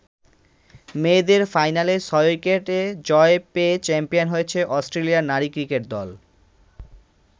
মেয়েদের ফাইনালে ৬ উইকেটে জয় পেয়ে চ্যাম্পিয়ন হয়েছে অস্ট্রেলিয়ার নারী ক্রিকেট দল।